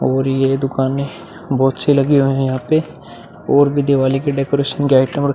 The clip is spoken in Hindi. और ये दुकानें बहोत सी लगी हुई हैं यहाँ पे और भी दिवाली के डेकोरेशन के आइटम और --